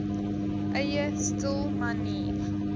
eie stil manier